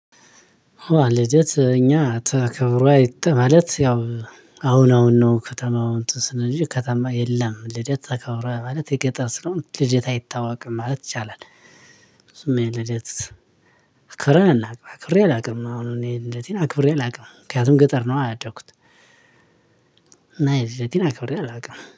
ልደት እኛ ተከብሮ አይተን ማለት ያው አሁን አሁን ነው ከተማው እንትን ስንል እንጂ ከተማ የለም ልደት ተከብረህ ማለት የገጠር ስለሆነ ልደት አይታወቅም ማለት ይቻላል። እሱማ የልደት አክብሬ አላውቅም አክብሬ አላውቅም አሁን እኔ ልደቴን አክብሬ አላውቅም ምክንያቱም ገጠር ነው አያደኩት። እና ልደቴን አክብሬ አላውቅም